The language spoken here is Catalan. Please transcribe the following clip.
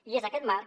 i és aquest marc